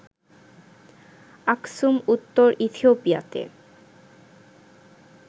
Aksum উত্তর ইথিওপিয়াতে